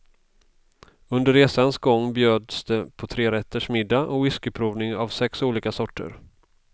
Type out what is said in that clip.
Under resans gång bjöds det på trerätters middag och whiskyprovning av sex olika sorter.